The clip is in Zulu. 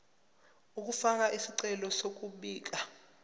ukufaka isicelo sokubika